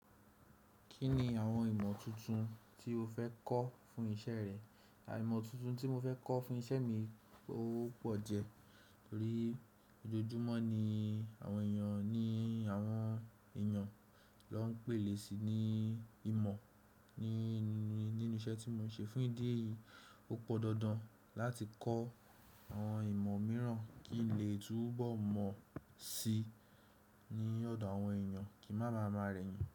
Kí ni àwọn ìmọ̀ tuntun tí o fẹ́ kọ́ fún iṣẹ́ rẹ? À imọ̀ tuntun tí mo fẹ́ kọ́ fún iṣẹ́ mi ó pọ̀ jẹ. Torí ojoojúmọ́ ni àwọn èèyàn ní àwọn èèyàn ló ń pèlè si ní ìmọ̀ ní, nínú iṣẹ́ tí mò ń ṣe fún ìdí èyí, ó pọ̀ dandan láti kọ́ àwọn ìmọ̀ mìíràn kí n lè túbọ̀ mọ̀ sí i ní ọ̀dọ̀ àwọn èèyàn kí ń má máa máa rẹ́ yín.